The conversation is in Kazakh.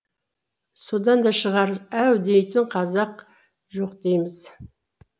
содан да шығар әу дейтін қазақ жоқ дейміз